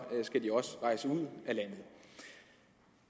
skal de også rejse ud af landet